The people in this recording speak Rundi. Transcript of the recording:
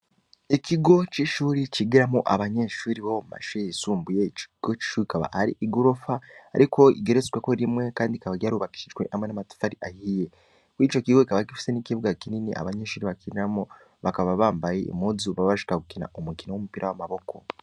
Ikigo, c'ishure cigiramwo abanyeshure bo mumashure yisumbuye, Ico kigo akaba ari igorofa ariko rigeretseko rimwe kandi rikaba ryarubakishijwe namatafari ahiye, mwico kigo kikaba gifise ikibuga kinini abanyeshure bakinamwo baba bambaye